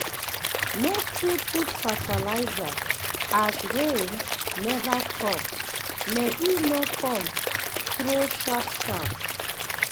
no too put fertilizer as rain never come may e no come throw sharp sharp